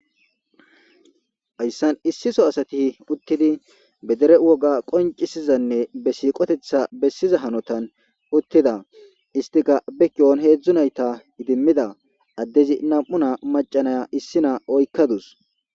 Hayssan issi so asati uttidi bedere woga qoncisizanne be siiqotetha bessiza hanotan uttida istika bekiyon heedzdzu nayta idimmida addezi nam7u na macanaya issi naa oykkadus.